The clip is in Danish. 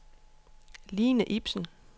Line Ibsen